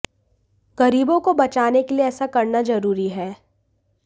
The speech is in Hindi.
गरीबों को बचाने के लिए ऐसा करना जरूरी है